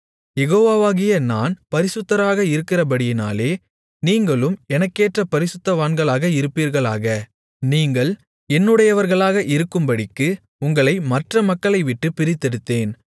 யெகோவாகிய நான் பரிசுத்தராக இருக்கிறபடியினாலே நீங்களும் எனக்கேற்ற பரிசுத்தவான்களாக இருப்பீர்களாக நீங்கள் என்னுடையவர்களாக இருக்கும்படிக்கு உங்களை மற்ற மக்களைவிட்டுப் பிரித்தெடுத்தேன்